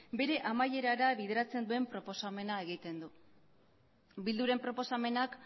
bere amaierara bideratzen duen proposamena egiten du bilduren proposamenak